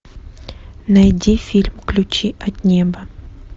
найди фильм ключи от неба